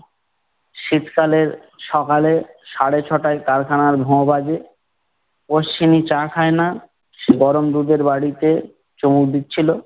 শীত কালের সকালে সাড়ে ছ'টায় কারখানার ভোঁ বাজে। অশ্বিনী চা খায় না, সে গরম দুধের বাটিতে চুমুক দিচ্ছিলো।